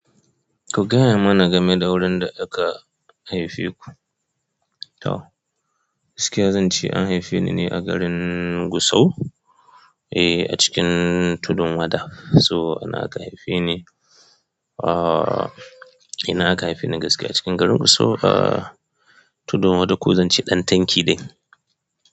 Ku gaya mana gameda wurin da aka haifa ku, to gaskiya zance an haife ni ne a garin Gusau, eh a cikin Tudun Wada. So anan aka haife ni, uh, ina aka haife ni gaskiya cikin garin Gusau, uh, Tudun Wada ko zan ce Ɗan Tanki ɗin.